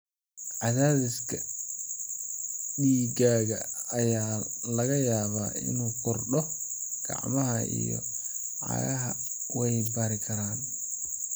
Cadaadiska dhiiggaaga ayaa laga yaabaa inuu kordho, gacmahaaga iyo cagahaagana way barari karaan.